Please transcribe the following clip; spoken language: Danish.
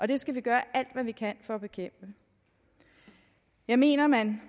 det skal vi gøre alt hvad vi kan for at bekæmpe jeg mener at man